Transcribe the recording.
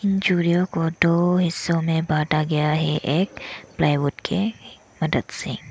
चूड़ियों को दो हिस्सों में बाटा गया एक प्लाईवुड के मदद से --